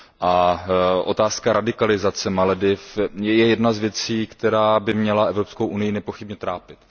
a otázka radikalizace Malediv je jedna z věcí, která by měla Evropskou unii nepochybně trápit.